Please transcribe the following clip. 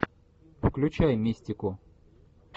включай мистику